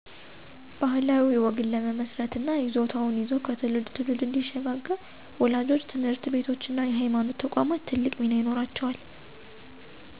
ባህላዊ ወግን ለመመስረት እና ይዞታው ይዞ ከትውልድ ትውልድ እንዲሽጋገር ወላጆች፣ ትምህርት ቤቶች እና የሀይማኖት ተቋማት ትልቅ ሚና ይኖራቸዋል።